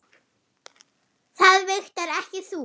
Það vigtar ekki þungt.